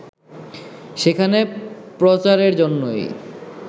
সেখানে প্রচারের জন্যই